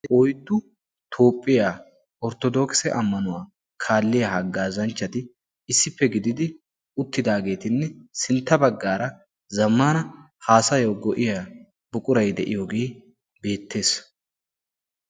oyttu toophphiyaa orttodookse ammanuwaa kaalliyaa haggaa zanchchati issippe gididi uttidaageetinne sintta baggaara zammana haasayyo go'iya buquray de'iyoogee beettees.